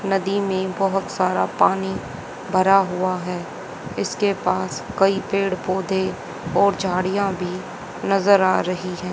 नदी में बहुत सारा पानी भरा हुआ है इसके पास कई पेड़ पौधे और झाड़ियां भी नजर आ रही हैं।